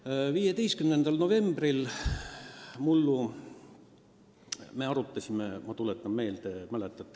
Mullu 15. novembril me arutasime – ma tuletan meelde, mäletate!